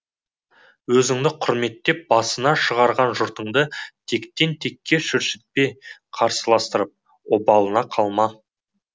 өзіңді құрметтеп басына шығарған жұртыңды тектен текке шүршітпен қырылыстырып оба лына қалма